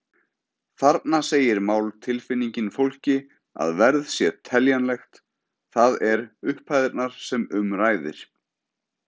Þarna segir máltilfinningin fólki að verð sé teljanlegt, það er upphæðirnar sem um ræðir.